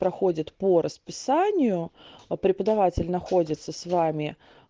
проходит по расписанию преподаватель находится с вами